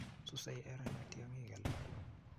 susei erenet tyongik alak